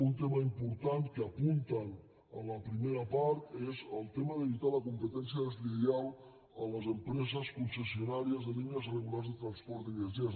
un tema important que apunten en la primera part és el tema d’evitar la competència deslleial a les empreses concessionàries de línies regulars de transport de viatgers